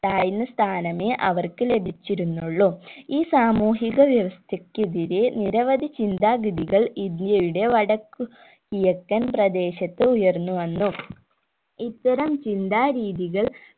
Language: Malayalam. താഴ്ന്ന സ്ഥാനമേ അവർക്ക് ലഭിച്ചിരുന്നുള്ളു ഈ സാമൂഹിക വ്യവസ്ഥക്കെതിരെ നിരവധി ചിന്താഗതികൾ ഇന്ത്യയുടെ വടക്കു കിഴക്കൻ പ്രദേശത്ത് ഉയർന്നു വന്നു ഇത്തരം ചിന്താ രീതികൾ